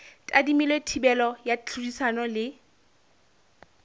tadimilwe thibelo ya tlhodisano le